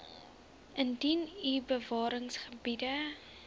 indien u bewaringsgebiede